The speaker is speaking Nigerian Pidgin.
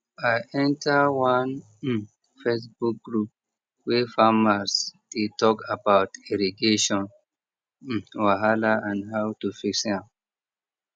i enter one um facebook group wey farmers dey talk about irrigation um wahala and how to fix am